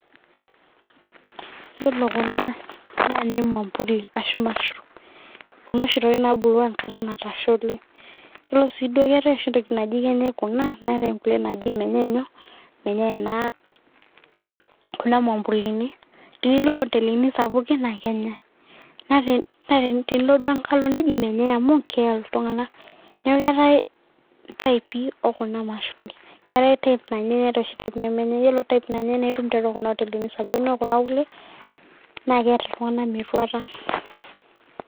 ore kuna naa nemampuli ashu mashurum kebulu oshi enkata natasha oleng',naa ketae inanyae netae inemenyae ,tinilo nkotelini sapuki naa kenyae.